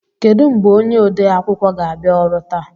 Kedụ mgbe onye ode akwụkwọ ga-abịa ọrụ taa?